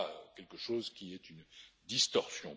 Il y a là quelque chose qui est une distorsion.